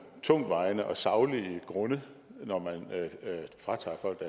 tungtvejende og saglige grunde når man fratager folk